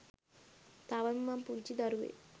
තවම මං පුංචි දරුවෙක්.